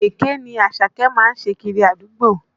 Èké ni Àṣàkẹ́ má ń ṣe kiri àdúgbò